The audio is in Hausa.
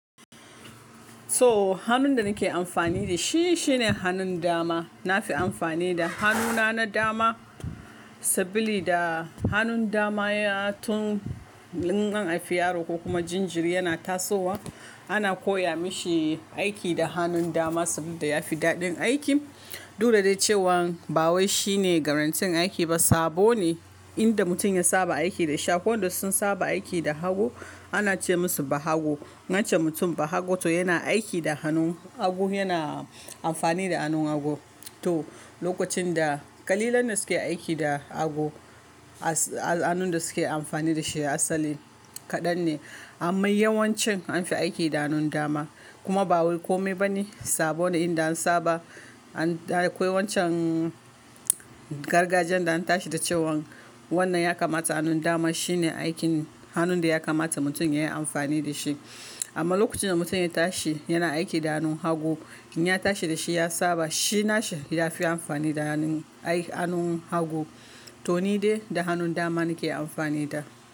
So hannun da nake amfani da shi shine hannun dama. Na fi amfani da hannuna na dama saboda hannun dama ya tun in an haifi yaro ko kuma jinjiri yana tasowa ana koya mashi aiki da hannun dama saboda ya fi daɗin aiki. Du da dai cewan ba wai shine garantin aiki ba sabo ne in da mutum ya saba aiki da shi. Wadanda sun saba aiki da hagu ana ce musu Bahagu. Wancan mutum Bahago to yana aiki da hannun hagu, yana amfani da hannun hagu. To lokacin da ƙalilan da suke aiki da hagu, as- hannun da suke amfani da shi asali kaɗan ne. Amma yawancin an fi aiki da hannun dama. Kuma ba wai kome ba ne sabo ne inda an saba an-- da akwai wancan gargajiyan da an tashi da cewan wannan ya kamata hannun dama shine aikin hannun da ya kamata mutum yayi amfani da shi. Amma lokacin da mutum ya tashi yana aiki da hannun hagu in ya tashi da shi ya saba shi nashi ya fi amfani da hannun aiki-- hannun hagu. To ni dai da hannun dama nake amfani da.